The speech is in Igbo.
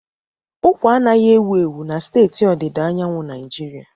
Ụkwa anaghị ewu ewu na steeti ọdịda anyanwụ Naijiria.